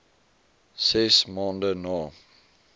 ses maande na